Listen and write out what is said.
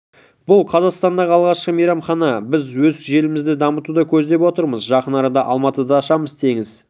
бұл қазақстандағы алғашқы мейрамхана біз өз желімізді дамытуды көздеп отырмыз жақын арада алматыда да ашамыз теңіз